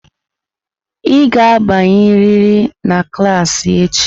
Ị ga-abanyerịrị na klas echi!